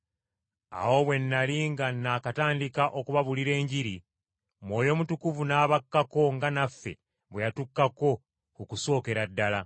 “Awo bwe nnali nga nakatandika okubabuulira Enjiri, Mwoyo Mutukuvu n’abakkako nga naffe bwe yatukkako ku kusookera ddala!